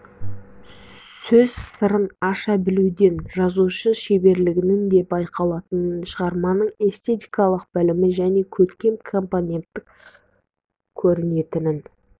сөз сырын аша білуден жазушы шеберлігінің де байқалатынын шығарманың эстетикалық білімі оның көркем компонентінен көрінетінін